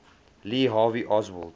lee harvey oswald